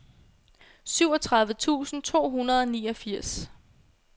syvogtredive tusind to hundrede og niogfirs